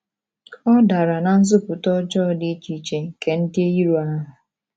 Ọ̀ dara ná nzupụta ọjọọ dị iche iche nke ndị iro ahụ?